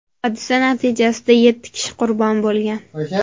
Hodisa natijasida yetti kishi qurbon bo‘lgan.